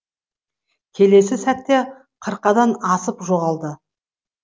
келесі сәтте қырқадан асып жоғалды